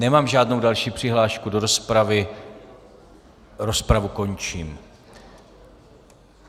Nemám žádnou další přihlášku do rozpravy, rozpravu končím.